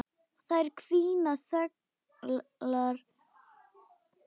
Þær hvína þöglar.